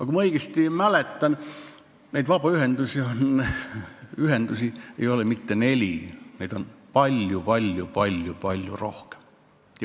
Kui ma õigesti mäletan, siis vabaühendusi ei ole mitte neli, neid on palju-palju-palju rohkem.